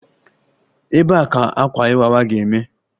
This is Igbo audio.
Ebee ka ememme Akwa Iwa ga-eme?